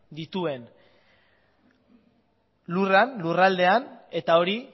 dituen lurraldean eta hori